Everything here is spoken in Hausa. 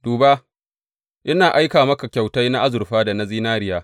Duba, ina aika maka kyautai na azurfa da na zinariya.